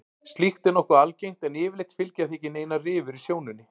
Slíkt er nokkuð algengt en yfirleitt fylgja því ekki neinar rifur í sjónunni.